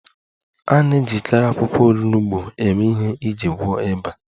A na-ejikarị akwụkwọ onugbo eme ihe iji gwọọ ịba